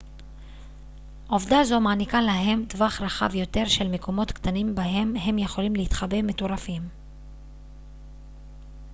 עובדה זו מעניקה להם טווח רחב יותר של מקומות קטנים בהם הם יכולים להתחבא מטורפים